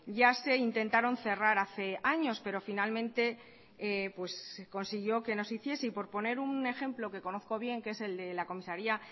ya se intentaron cerrar hace años pero finalmente se consiguió que no se hiciese y por poner un ejemplo que conozco bien que es el de la comisaría